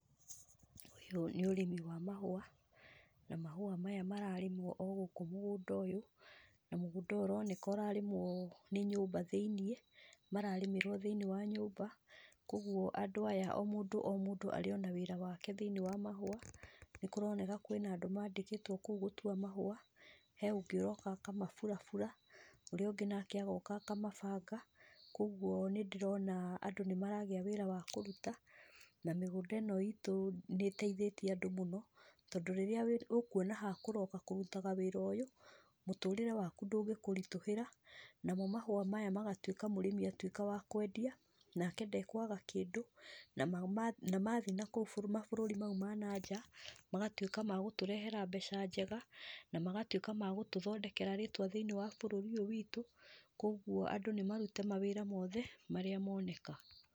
Ũyũ nĩ ũrĩmi wa mahũa. Na mahũa maya mararĩmwo o gũkũ mũgũnda ũyũ. Na mũgũnda ũyũ ũroneka ũrarĩmwo nyũmba thĩinĩ. Mararĩmĩrũo thĩinĩ wa nyũmba, kogũo andũ aya o mũndũ arĩ na wĩra wake thĩinĩ wa mahũa. Nĩ kũroneka kwĩna andũ mandĩkĩtũo kũu gũtua mahũa. He ũngĩ ũroka akamaburabura. Ũrĩa ũngĩ nake agoka akamabanga. Koguo nĩ ndĩrona andũ nĩmaragĩa wĩra wa kũruta, na mĩgũnda ĩno itũ nĩ ĩteithĩtie andũ mũno. Tondũ rĩrĩa ũkuona ha kũroka kũruta wĩra ũyũ, mũtũrĩre waku ndũgĩkũritũhĩra. Namo mahũa maya magatuĩka mũrĩmi atwĩka wa kwendia, nake ndakwaga kĩndũ. Na mathiĩ nakũu mabũrũri ma ja magatuĩka ma gũtũrehera mbeca njega, na magatũĩka ma gũtũthondekera rĩtwa thĩiniĩ wa bũrũri ũyũ wĩtũ. Koguo andũ nĩ marute mawĩra mothe marĩa moneka.